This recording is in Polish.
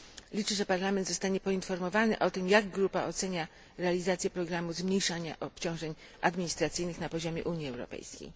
Liczę, że Parlament zostanie poinformowany o tym, jak grupa ocenia realizację programu zmniejszania obciążeń administracyjnych na poziomie Unii Europejskiej.